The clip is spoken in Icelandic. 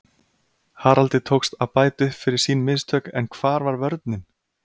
Haraldi tókst að bæta upp fyrir sín mistök en hvar var vörnin????